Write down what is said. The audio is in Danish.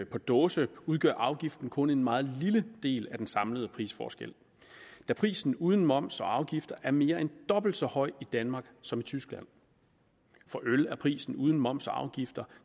på dåse udgør afgiften kun en meget lille del af den samlede prisforskel da prisen uden moms og afgifter er mere end dobbelt så høj i danmark som i tyskland for øl er prisen uden moms og afgifter